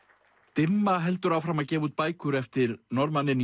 dimma heldur áfram að gefa út bækur eftir Norðmanninn